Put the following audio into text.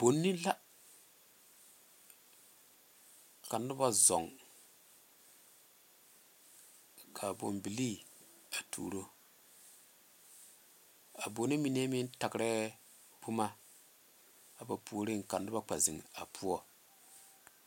Bone la ka noba zɔɔ ka a bone bilii tuuro a bone mine meŋ tarɛ boma a puoriŋ ka noba kpɛ zeŋe a poɔ.